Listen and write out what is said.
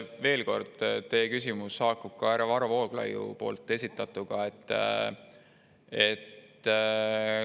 Veel kord, teie küsimus haakub härra Varro Vooglaiu esitatud küsimusega.